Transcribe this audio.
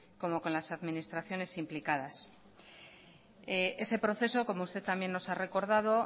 como con las administraciones implicadas ese proceso como usted también nos ha recordado